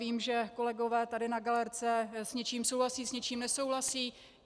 Vím, že kolegové tady na galerce s něčím souhlasí, s něčím nesouhlasí.